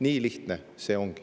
Nii lihtne see ongi.